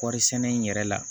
Kɔɔri sɛnɛ in yɛrɛ la